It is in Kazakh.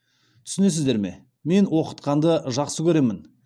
түсінесіздер ме мен оқытқанды жақсы көремін